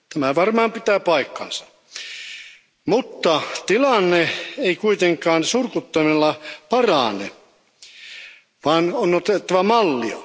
Tämä varmaan pitää paikkansa, mutta tilanne ei kuitenkaan surkuttelulla parane, vaan on otettava mallia.